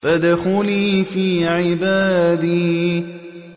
فَادْخُلِي فِي عِبَادِي